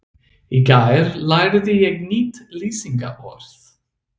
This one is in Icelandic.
Í gær lærði ég nýtt lýsingarorð.